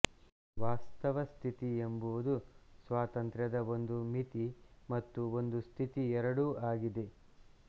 ವಾಸ್ತವಸ್ಥಿತಿ ಎಂಬುದು ಸ್ವಾತಂತ್ರ್ಯದ ಒಂದು ಮಿತಿ ಮತ್ತು ಒಂದು ಸ್ಥಿತಿ ಎರಡೂ ಆಗಿದೆ